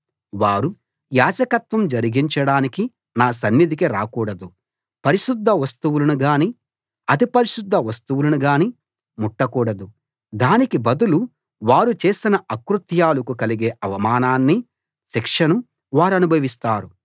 వారు యాజకత్వం జరిగించడానికి నా సన్నిధికి రాకూడదు పరిశుద్ధ వస్తువులను గాని అతి పరిశుద్ధ వస్తువులను గాని ముట్టకూడదు దానికి బదులు వారు చేసిన అకృత్యాలకు కలిగే అవమానాన్ని శిక్షను వారనుభవిస్తారు